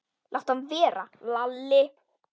Láttu hann vera, Lalli!